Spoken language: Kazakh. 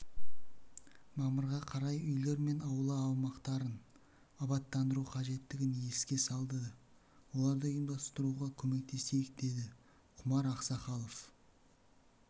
мамырға қарай үйлер мен аула аумақтарын абаттандыру қажеттігін еске салды соларды ұйымдастыруға көмектесейік деді құмар ақсақалов